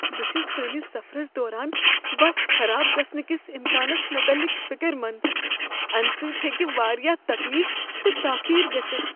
بہٕ چھس سٲنس سفرس دوران بس خراب گژھنہٕ کس امکانس متعلق فکر مند ، امہ سۭتۍ ہیٚکہ واریاہ تکلیف تہٕ تاخیر گژھتھ ۔